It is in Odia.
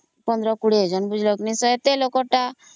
15 20 ଜଣ ବୋଲେ ଏତେ ଲୋକ ତ